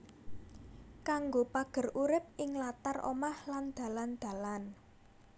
Kanggo pager urip ing latar omah lan dalan dalan